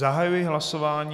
Zahajuji hlasování...